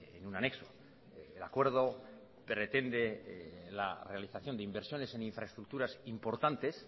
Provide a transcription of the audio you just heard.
en un anexo el acuerdo pretende la realización de inversiones en infraestructuras importantes